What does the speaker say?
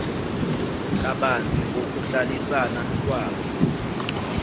kabanzi ngokuhlalisana kwabo